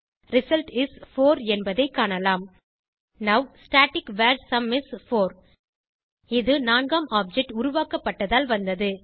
result is 4 என்பதை காணலாம் now static var sum is 4 இது நான்காம் ஆப்ஜெக்ட் உருவாக்கப்பட்டதால் வந்தது